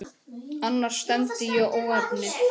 Annars stefndi í óefni.